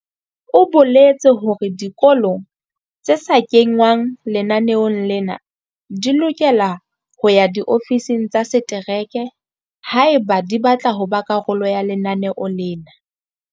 O boletse hore dikolo tse sa kengwang lenaneong lena di lokela ho ya diofising tsa setereke haeba di batla ho ba karolo ya lenaneo lena.